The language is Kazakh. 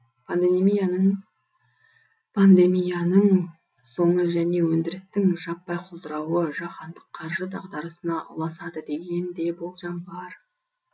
пандемияның соңы және өндірістің жаппай құлдырауы жаһандық қаржы дағдарысына ұласады деген де болжам бар